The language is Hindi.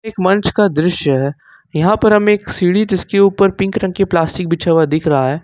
एक मंच का दृश्य है यहां पर हम एक सीढ़ी जिसके ऊपर पिंक रंग की प्लास्टिक बिछा हुआ दिख रहा है।